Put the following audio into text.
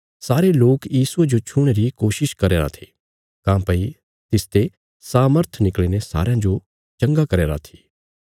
सारे लोक यीशुये जो छूणे री कोशिश करया रां थे काँह्भई तिसते सामर्थ निकल़ीने सारयां जो चंगा करया रां थी